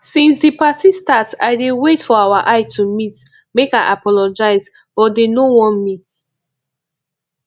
since the party start i dey wait for our eye to meet make i apologize but dey no wan meet